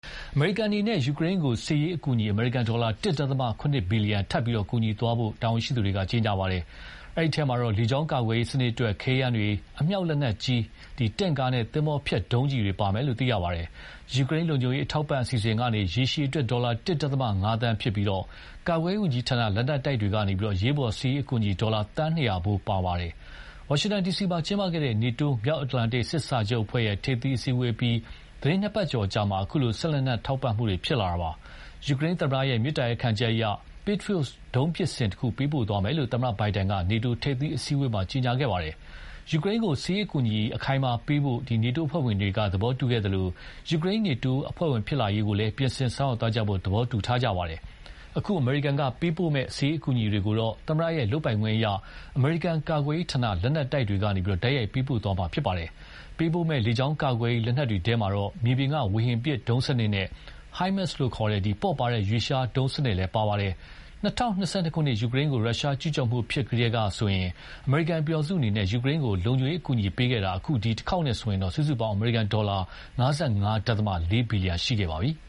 အမေရိကန်အနေနဲ့ ယူကရိန်းကို စစ်ရေးအကူအညီ အမေရိကန်ဒေါ်လာ ၁. ၇ ဘီလီယံ ကူညီသွားမယ်လို့ တာဝန်ရှိသူတွေက ကြေညာပါတယ်။ ဒီအထဲမှာ လေကြောင်းကာကွယ်ရေးစနစ်အတွက် ခဲယမ်းတွေ၊ အမြောက်လက်နက်ကြီး၊ တင့်ကားနဲ့ သင်္ဘောဖျက်ဒုံးကျည်တွေ ပါဝင်မယ်လို့ သိရပါတယ်။ ယူကရိန်းလုံခြုံရေးထောက်ပံ့ရေးအစီအစဉ်ကနေ ရေရှည်အတွက် ဒေါ်လာ ၁.၅ သန်းဖြစ်ပြီး ကာကွယ်ရေးဝန်ကြီးဌာန လက်နက်တိုက်တွေကနေ အရေးပေါ်စစ်ရေးအကူအညီ ဒေါ်လာ သန်း ၂၀၀ ဖိုး ပါဝင်ပါတယ်။ ဝါရှင်တန် ဒီစီမှာ ကျင်းပခဲ့တဲ့ NATO မြောက်အတ္တလန်တိတ်စစ်စာချုပ်အဖွဲ့ ထိပ်သီးအစည်းအဝေးအပြီး သီတင်းနှစ်ပတ်ကျော်အကြာမှာ အခုလို စစ်လက်နက်ထောက်ပံ့မှုတွေ ဖြစ်လာတာပါ။ ယူကရိန်းသမ္မတရဲ့ မေတ္တာရပ်ခံချက်အရ Patriot ဒုံးပစ်စင်တခု ပေးပို့သွားမယ်လို့ သမ္မတ Biden က NATO ထိပ်သီး အစည်းအဝေးမှာ ကြေညာခဲ့ပါတယ်။ ယူကရိန်းကို စစ်ရေးအကူအညီအခိုင်အမာပေးသွားဖို့ NATO အဖွဲ့ဝင်တွေက သဘောတူခဲ့ကြသလို ယူကရိန်း NATO အဖွဲ့ဝင်ဖြစ်လာရေးကိုလည်း ပြင်ဆင်ဆောင်ရွက်သွားကြဖို့ သဘောတူခဲ့ကြပါတယ်။ အခု အမေရိကန်ကပေးပို့မယ့် စစ်ရေးအကူအညီတွေကိုတော့ သမ္မတရဲ့လုပ်ပိုင်ခွင့်အရ အမေရိကန်ကာကွယ်ရေးဌာန လက်နက်တိုက်တွေကနေ တိုက်ရိုက်ပေးပို့သွားမှာဖြစ်ပါတယ်။ ပေးပို့မယ့် လေကြောင်းကာကွယ်ရေး လက်နက်တွေ ထဲမှာတော့ မြေပြင်က ဝေဟင် ဒုံးစနစ်နဲ့ HIMARS လို့ ခေါ်တဲ့ ပေါ့ပါးတဲ့ ရွေ့လျားဒုံးစနစ်လည်း ပါဝင်ပါတယ်။ ၂၀၂၂ ခုနှစ် ယူကရိန်းကို ရုရှားကျူးကျော်မှုဖြစ်ပြီးကတည်းကဆိုရင် အမေရိကန်ပြည်ထောင်စုအနေနဲ့ ယူကရိန်းကို လုံခြုံရေး အကူအညီပေးခဲ့တာ အခု ဒီတခေါက်နဲ့ဆိုရင် စုစုပေါင်း အမေရိကန်ဒေါ်လာ ၅၅.၄ ဘီလီယံရှိခဲ့ပါပြီ။